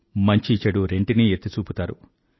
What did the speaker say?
మంచిచెడు రెంటినీ ఎత్తిచూపుతారు